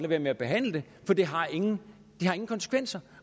være med at behandle for det har ingen konsekvenser